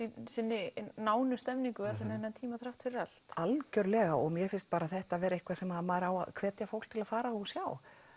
sinni nánu stemningu allan þennan tíma þrátt fyrir allt algjörlega mér finnst þetta vera eitthvað sem maður á að hvetja fólk til að fara á og sjá